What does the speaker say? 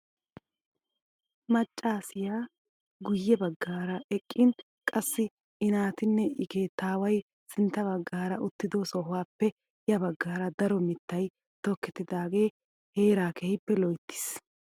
Maccasiyaa guye baggaara eqqin qassi i naatinne i keettaway sintta baggaara uttido sohuwaape ya baggaara daro mittay tokettidiagee heeraa keehippe loyttiis.